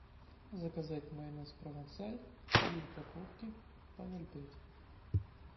заказать майонез провансаль три упаковки по ноль пять